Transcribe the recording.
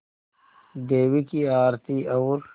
देवी की आरती और